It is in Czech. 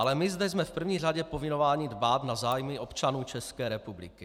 Ale my zde jsme v první řadě povinováni dbát na zájmy občanů České republiky.